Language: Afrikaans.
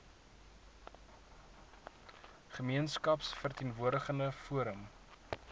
gemeenskaps verteenwoordigende forum